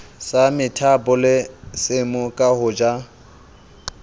sa methabolisemo ke ho ja